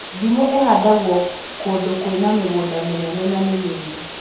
Ndimũ ĩhandagwo kũndũ kwĩna mĩgũnda mĩnena na mĩnini